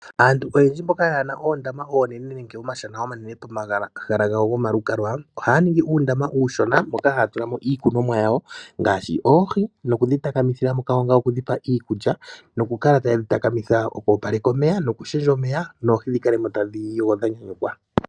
Aantu oyendji mboka ye na oondama oonene nenge iishana pomahala gawo gwomalukalwa ohaya ningi uundama uushona mono haya tula mo oohi nokudhi takamithila mo ngaashi oku dhi pa iikulya, okwoopaleka omeya nokulundulula omeya opo oohi dhi kale tadhi yogo dha nyanyukwa.